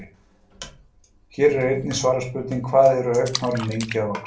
Hér er einnig svarað spurningunni: Hvað eru augnhárin lengi að vaxa?